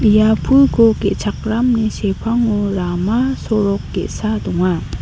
ia pulko ge·chakramni sepango rama sorok ge·sa donga.